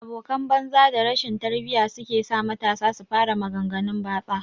abokan banza da rashin tarbiyya sukesa matasa su fara magan ganun batsa